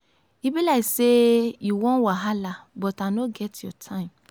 e be like say you wan wahala but i no get your time.